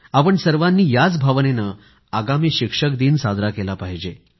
आपण सर्वांनी याच भावनेनं आगामी शिक्षक दिन साजरा केला पाहिजे